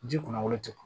Ji kunnafolo te kun